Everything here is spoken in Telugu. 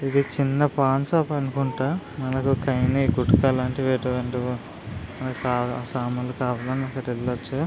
ఇది చిన్న పాన్ షాప్ అనుకుంటా మనకి కైని గుట్కా లాంటివి మనకి సామాన్లు కావాలన్నప్పుడు వెళ్ళచ్చు.